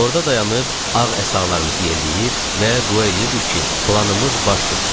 Orda dayanıb ağ əsalarımızı yelləyir və dua eləyirdik ki, planımız baş tutsun.